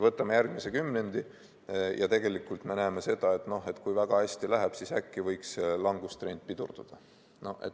Võtame järgmise kümnendi ja tegelikult me näeme seda, et kui väga hästi läheb, siis äkki võiks langustrend pidurduda.